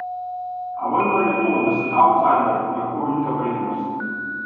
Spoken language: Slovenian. A vendar je to, da si avtsajder, lahko velika prednost.